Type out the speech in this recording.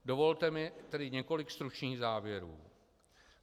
Dovolte mi tedy několik stručných závěrů.